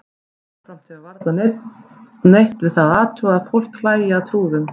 Jafnframt hefur varla neinn neitt við það að athuga að fólk hlæi að trúðum.